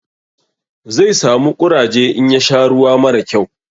Zai samu ƙuraje in ya sha ruwa mara kyau.